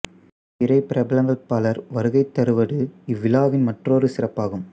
திரை பிறபலங்கள் பலர் வருகை தருவது இவ்விழாவின் மற்றோரு சிறப்பாகும்